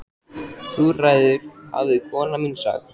Þú ræður hafði kona mín sagt.